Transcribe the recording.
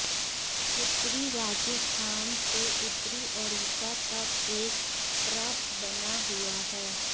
उत्तरी राजस्थान से उत्तरी ओडिशा तक एक ट्रफ बना हुआ है